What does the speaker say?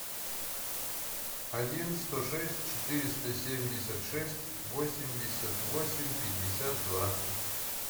один сто шесть четыреста семьдесят шесть восемьдесят восемь пятьдесят два